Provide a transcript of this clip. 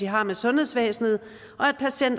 har med sundhedsvæsenet